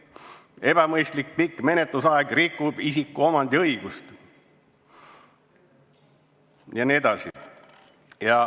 Ebamõistlik pikk menetlusaeg rikub isikuomandi õigust jne.